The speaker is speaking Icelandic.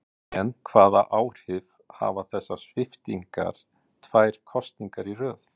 En hvaða áhrif hafa þessar sviptingar tvær kosningar í röð?